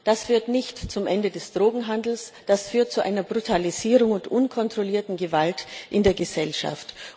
Das führt nicht zum Ende des Drogenhandels, das führt zu einer Brutalisierung und unkontrollierten Gewalt in der Gesellschaft.